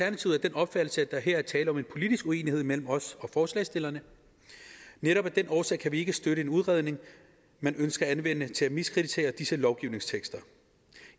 opfattelse at der her er tale om en politisk uenighed mellem os og forslagsstillerne netop af den årsag kan vi ikke støtte en udredning man ønsker at anvende til at miskreditere disse lovgivningstekster